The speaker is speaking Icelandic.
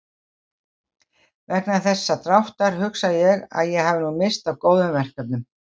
Vegna þessa dráttar hugsa ég að ég hafi nú misst af góðum verkefnum.